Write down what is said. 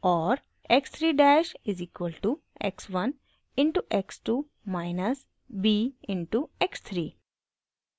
x 3 dash is equal to x 1 into x 2 minus b into x 3